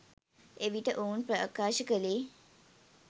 එවිට ඔවුන් ප්‍රකාශ කළේ